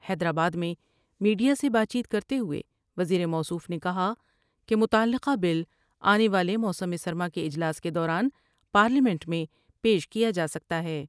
حیدرآباد میں میڈیا سے بات چیت کر تے ہوئے وزیر موصوف نے کہا کہ متعلقہ بل آنے والے موسم سرما کے اجلاس کے دوران پارلیمنٹ میں پیش کیا جا سکتا ہے ۔